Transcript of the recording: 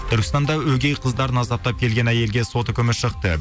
түркістанда өгей қыздарын азаптап келген әйелге сот үкімі шықты